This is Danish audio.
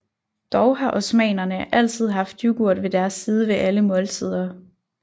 Dog har osmanerne altid haft yoghurt ved deres side ved alle måltider